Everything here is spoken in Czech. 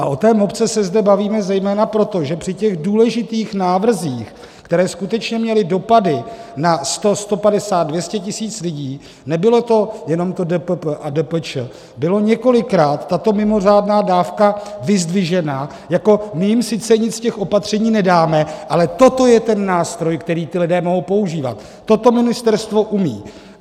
A o té mopce se zde bavíme zejména proto, že při těch důležitých návrzích, které skutečně měly dopady na 100, 150, 200 tisíc lidí, nebylo to jenom to DPP a DPČ, byla několikrát tato mimořádná dávka vyzdvižena jako: my jim sice nic z těch opatření nedáme, ale toto je ten nástroj, který ti lidé mohou používat, toto ministerstvo umí.